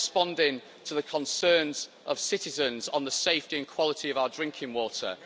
We are responding to the concerns of citizens on the safety and quality of our drinking water.